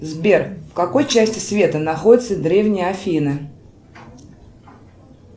сбер в какой части света находятся древние афины